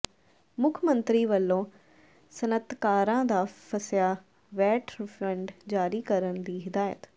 ਮੁੱਖ ਮੰਤਰੀ ਵੱਲੋਂ ਸਨਅਤਕਾਰਾਂ ਦਾ ਫਸਿਆ ਵੈਟ ਰਿਫੰਡ ਜਾਰੀ ਕਰਨ ਦੀ ਹਦਾਇਤ